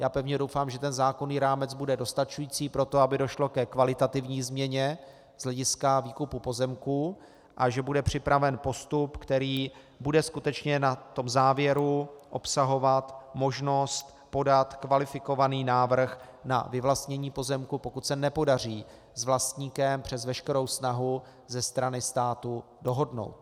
Já pevně doufám, že ten zákonný rámec bude dostačující pro to, aby došlo ke kvalitativní změně z hlediska výkupu pozemků, a že bude připraven postup, který bude skutečně na tom závěru obsahovat možnost podat kvalifikovaný návrh na vyvlastnění pozemku, pokud se nepodaří s vlastníkem přes veškerou snahu ze strany státu dohodnout.